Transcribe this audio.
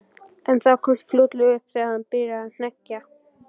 En það komst fljótlega upp þegar hann byrjaði að hneggja.